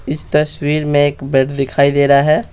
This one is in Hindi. इस तस्वीर में एक बेड दिखाई दे रहा है।